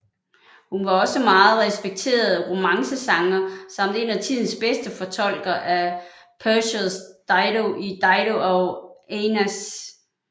Hun var også meget respekteret romancesanger samt en af tidens bedste fortolkere af Purcells Dido i Dido og Aeneas